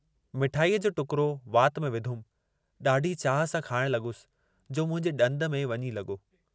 मिठाईअ जो टुकरो वात में विधुमि, ॾाढी चाह सां खाइण लॻुसि, जो मुंहिंजे ॾंद में वञी लॻो।